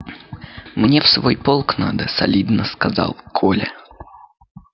мне в свой полк надо солидно сказал коля